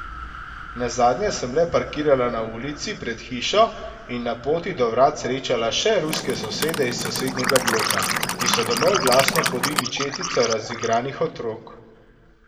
Nazadnje sem le parkirala na ulici pred hišo in na poti do vrat srečala še ruske sosede iz sosednjega bloka, ki so domov glasno podili četico razigranih otrok.